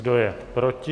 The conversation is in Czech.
Kdo je proti?